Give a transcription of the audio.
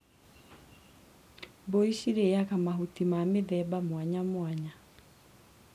Mbũri cirĩaga mahuti ma mĩthemba mwanyamwanya.